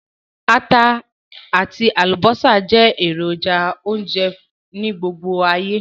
Ata àtí àlùbọ́sà je èròjà ìse-ounje ni gbogbo ayé